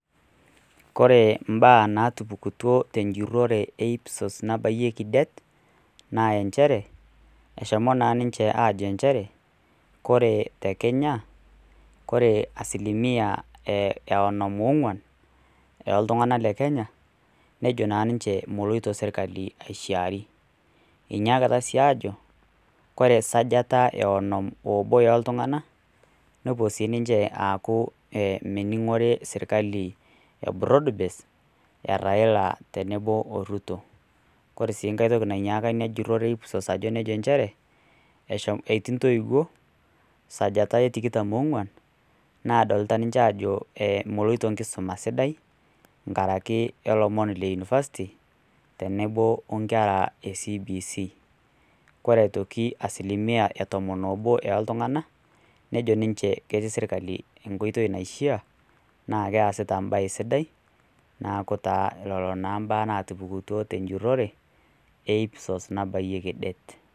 Kore imbaa naatupukutuo te enjurore e IPSOS nabayieki det naa enchere, eshomo naa ninche aajo enjere kore te Kenya ore asilimia e onom oong'wan, oo iltungana le Kenya nejo naa ninche enchere meloito naa serkali aishaari. Eunyakita sii aajo, kore esajata e onom obo o iltung'ana nepuo sii ninche aaku mening'ore sirkali e broadbase e Raila tenebo o Ruto. Kore sii enkai toki nainyaaka enjurorre e IPSOS enchere, etii intoiwuo sajata e tikitam oong'wan, naadlita ninche aajo meloito enkisuma aa sidai, nkaraki o lomoni le unifasti tenebo o nkera e CBC. Kore aitoki e asilimia e tomon oobo ooltung'ana, neijo ninche ketii sirkali enkoitoi naishaa naa keasita embae sidai, neaku taa lelo taa imbaa naatupukutuo te enjurore e IPSOS nabayieki det.